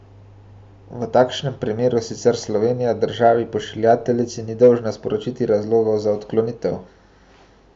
V takšnem primeru sicer Slovenija državi pošiljateljici ni dolžna sporočiti razlogov za odklonitev.